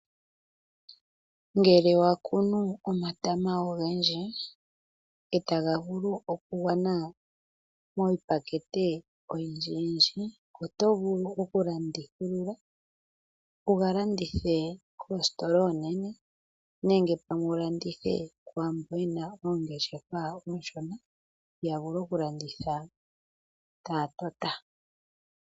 Ngele wa kunu omatama ogendji etaga vulu okugwana miipakete oyindji yindji. Oto vulu okulandithulula, wu ga landithe koositola oonene, nenge pamwe wu landithe kwaambo yena oongeshefa oonshona ya vule okulanditha taya tota.